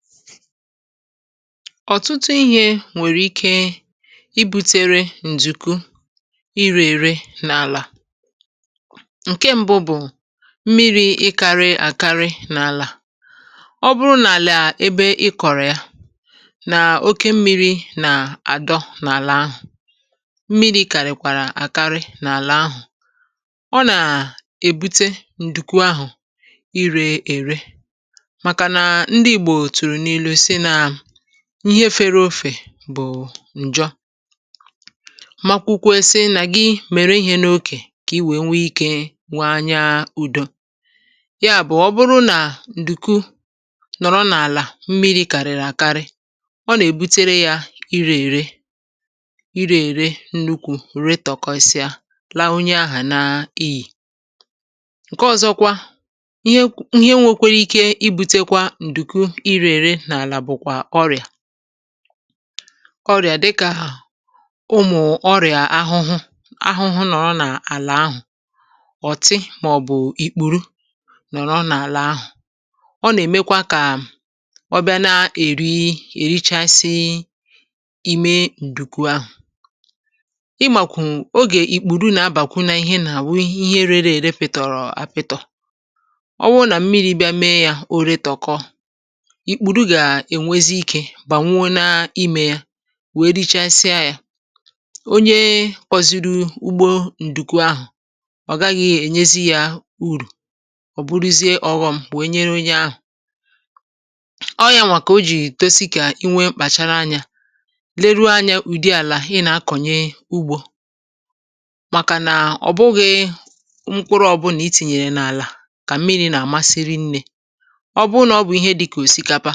Ọtụtụ ihe nwere ike ibute ka ǹdùkwu rie rie n’ala. Ihe mbụ bụ mmiri dị oke n’ala. Ọ bụrụ na ị kụchaa ya n’ebe mmiri dị oke ma na-adọkọ n’ala ahụ, um mmiri dị oke n’ala ahụ ga-eme ka ǹdùkwu rie rie. Nke a bụ nsogbu siri ike. Ya bụkwa, mgbe ị na-akọ ugbo, ị ga-adị ncheta ma na-achịkwa ya nke ọma. Ọ bụrụ na ǹdùkwu dị n’ala nwere mmiri karịrị akarị, ọ ga-ebute irē irē, ma mee ka mkpụrụ ji mebie kpamkpam. Ihe ọzọ nwekwara ike ibute ka ǹdùkwu rie rie bụ ọrịa, um dịka ụmụ ahụhụ ma ọ bụ ịkpụrụ ndị na-anọkarị n’ala. Mgbe ha nọ n’ala, ha na-abịa rie rie ǹdùkwu ahụ ruo mgbe ha mechara ya. Ị maara oge ụmụ ịkpụrụ na-abawanye, um ọ bụ mgbe ahụ mmebi na-abawanye. Oge ụfọdụ mmiri na-eme ka o ka njọ, um mgbe nke ahụ mere, ǹdùkwu na-ere ere ngwa ngwa, ngwa ngwa, ruo mgbe ọ gaghị adịzi. N’aka onye ọrụ ugbo, ǹdùkwu ahụ agaghị enyezi uru ọ bụla. Ọ bụrụ na onye ahụ rụrụ ọrụ ma gbarie mbọ ịkụ ya, um ọrụ ahụ niile ga-apụ n’efu. Nke a bụ ihe mere o ji dị mkpa ilebara anya n’ụdị ala ị na-akọ ugbo. Ọ bụghị otu ihe maka ihe ọkụkụ niile. Ụfọdụ ihe ọkụkụ, um dịka osikapa,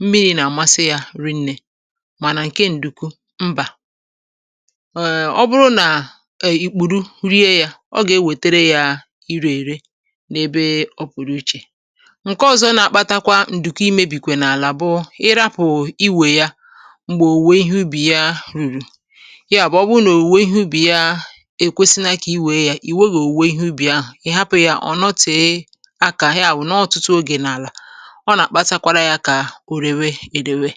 na-achọ ọtụtụ mmiri, ma ǹdùkwu abụghị otu a. Ọ bụrụ na ụmụ ịkpụrụ jidere ya, ọ ga-ebute irē irē n’ebe ọ bụla e kụrụ ya. Ihe ọzọ na-akpatakwa ka ǹdùkwu rie rie n’ala bụ ịhapụ ya mgbe oge owuwe ihe ubi ruru. Mgbe oge owuwe ihe ubi ruru, ọ dị mkpa iwepụ ya. Ọ bụrụ na ị hapụ ya ma ghara iwepụ ya n’ala, um ọ ga-ere ere, ere ere, ma i ga-efunahụ ya. Ya bụ, ọtụtụ mgbe, ndị ọrụ ugbo na-elekọta ala nke ọma.